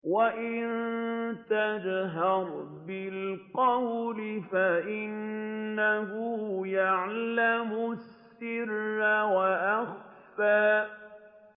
وَإِن تَجْهَرْ بِالْقَوْلِ فَإِنَّهُ يَعْلَمُ السِّرَّ وَأَخْفَى